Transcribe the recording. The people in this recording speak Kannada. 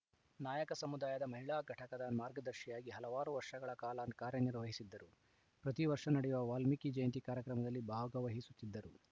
ನಾಯಕ ಸಮುದಾಯದ ಮಹಿಳಾ ಘಟಕದ ಮಾರ್ಗದರ್ಶಿಯಾಗಿ ಹಲವಾರು ವರ್ಷಗಳ ಕಾಲ ಕಾರ್ಯನಿರ್ವಹಿಸಿದ್ದರು ಪ್ರತಿವರ್ಷ ನಡೆಯುವ ವಾಲ್ಮೀಕಿ ಜಯಂತಿ ಕಾರ್ಯಕ್ರಮದಲ್ಲಿ ಭಾಗವಹಿಸುತ್ತಿದ್ದರು